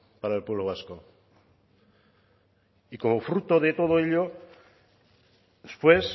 para el pueblo vasco y como fruto de todo ello después